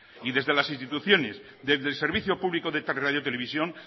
y desde las instituciones desde el servicio público de radiotelevisión